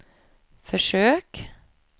försök